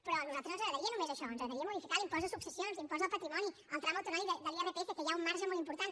però a nosaltres no ens agradaria només això ens agradaria modificar l’impost de successions l’impost del patrimoni el tram autonòmic de l’irpf que hi ha un marge molt important